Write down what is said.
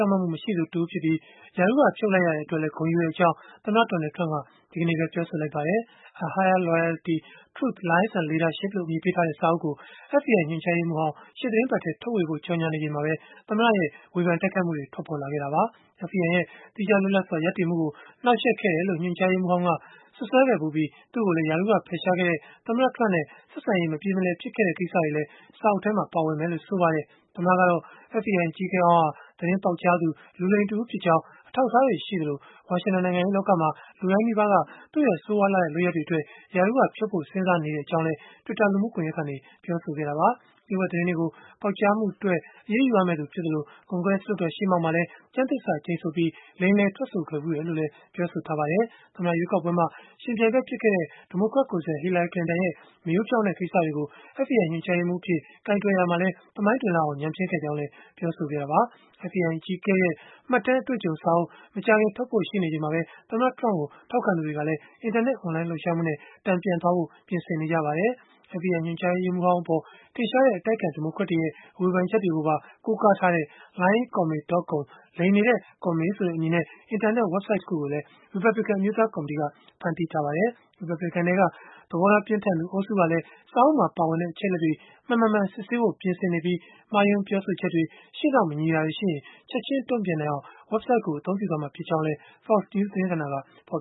င့်မတ်မှု မရှိသူတဦးဖြစ်ပြီး၊ ရာထူးက ဖြုတ်လိုက်ရတဲ့အတွက်လည်း ဂုဏ်ယူကြောင်း သမ္မတ Donald Trump က ဒီနေ့ပဲ ပြောဆိုလိုက်ပါတယ်။ A Higher Loyalty: Truth, Lies, And Leadership လို့ အမည်ပေးထားတဲ့ စာအုပ်ကို FBI ညွှန်ကြားရေးမှူးဟောင်း ရှေ့သီတင်းပတ်ထဲ ထုတ်ဝေဖို့ ကြော်ငြာနေချိန်မှာပဲ သမ္မတ Trump ရဲ့ ဝေဖန်တိုက်ခိုက်မှုတွေ ထွက်ပေါ်လာခဲ့တာပါ။ FBI ရဲ့ သီးခြားလွတ်လပ်စွာ ရပ်တည်မှုကို နှောက်ယှက်ခဲ့တယ်လို့ ညွှန်ကြားရေးမှူးဟောင်းက စွပ်စွဲခဲ့ဖူးပြီး၊ သူ့ကိုလည်း ရာထူးက ဖယ်ရှားခဲ့တဲ့ သမ္မတနဲ့ ဆက်ဆံရေး မပြေမလည် ဖြစ်ခဲ့တဲ့ ကိစ္စတွေလည်း စာအုပ်ထဲမှာ ပါဝင်မယ်လို့ ဆိုပါတယ်။ FBI အကြီးအကဲဟောင်းဟာ သတင်းပေါက်ကြားသူ၊ လူလိမ်တဦးဖြစ်ကြောင်း အထောက်အထားတွေ ရှိသလို၊ ဝါရှင်တန် နိုင်ငံရေးလောကမှာ လူတိုင်းနီးပါးက သူ့ရဲ့ဆိုးရွားလှတဲ့ လုပ်ရပ်တွေအတွက် ရာထူးကဖြုတ်ဖို့ စဉ်းစားနေကြောင်းလည်း သမ္မတက Twitter လူမှုကွန်ယက်ကနေ ပြောဆိုခဲ့တာပါ။ လျို့ဝှက်သတင်းတွေကို ပေါက်ကြားမှုအတွက် အရေးယူရမယ့်သူ ဖြစ်သလို၊ ကွန်ဂရက် လွှတ်တော် ရှေ့မှောက်မှာလည်း ကျမ်းသစ္စာကျိန်ဆိုပြီး လိမ်လည်ထွက်ဆိုခဲ့ဖူးတယ်လို့လည်း ဆိုပါတယ်။ သမ္မတရွေးကောက်ပွဲမှာ ယှဉ်ပြိုင်ဘက် ဖြစ်ခဲ့တဲ့ ဒီမိုကရက်ကိုယ်စားလှယ် Hillary Clinton ရဲ့ မရိုးဖြောင့်တဲ့ ကိစ္စတွေကို FBI ညွှန်ကြားရေးမှူးအဖြစ် ကိုင်တွယ်ရာမှာလည်း သမိုင်းတွင်လောက်အောင် ညံ့ဖျင်းခဲ့ကြောင်းလည်း ပြောဆိုခဲ့တာပါ။ FBI အကြီးအကဲရဲ့ မှတ်တမ်းအတွေ့အကြုံစာအုပ် မကြာခင် ထုတ်ဝေဖို့ ရှိနေချိန်မှာပဲ၊ သမ္မတ Donald Trump ကို ထောက်ခံသူတွေကလည်း အင်တာနက် အွန်လိုင်းလှုပ်ရှားမှုနဲ့ တန်ပြန်သွားဖို့ ပြင်ဆင်နေပါတယ်။ FBI ညွှန်ကြားရေးမှူးဟောင်းအပေါ် ထင်ရှားတဲ့ အတိုက်အခံ ဒီမိုကရက်တွေရဲ့ ဝေဖန်ချက်တွေကိုပါ ကိုးကားထားတဲ့ Lyin’Comey.com လိမ်နေတဲ့ Comey ဆိုတဲ့အမည်နဲ့ အင်တာနက် ဝဘ်ဆိုဒ်တခုကိုလည်း ရီပတ်ဘလစ်ကန် အမျိုးသားကော်မတီက ဖန်တီးလိုက်ပါတယ်။ ရီပတ်ဘလစ်ကန်ထဲက သဘောထားပြင်းထန်သူ အုပ်စုကလည်း စာအုပ်မှာပါတဲ့ အချက်အလက်တွေ မှန်-မမှန် စစ်ဆေးဖို့ ပြင်ဆင်နေပြီး၊ မှားယွင်းပြောဆိုချက်တွေ၊ ရှေ့နောက်မညီတာတွေရှိရင် ချက်ခြင်းတုံ့ပြန်နိုင်အောင် ဝဘ်ဆိုဒ်ကို အသုံးပြုသွားမှာ ဖြစ်ကြောင်းလည်း Fox News သတင်းဌာနက ဖော်